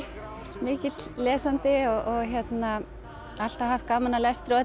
mikill lesandi og hérna alltaf haft gaman af lestri og þetta